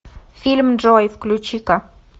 фильм джой включи ка